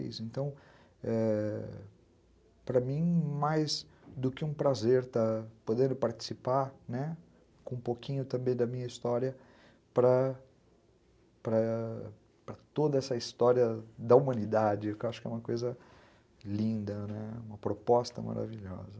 Então, para mim, mais do que um prazer poder participar, né, com um pouquinho também da minha história, para para toda essa história da humanidade, que eu acho que é uma coisa linda, né, uma proposta maravilhosa.